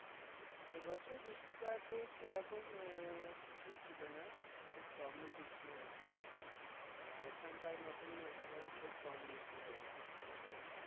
এবছর বৃষ্টিপাতে আহ সেরকম কিছুই ছিলনা, খুব কমই বৃষ্টি হয়েছে। আহ ওখান কার মতই এখানেও খুব কম বৃষ্টি হয়েছে। তো,